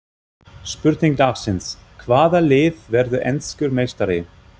Spurning dagsins: Hvaða lið verður enskur meistari?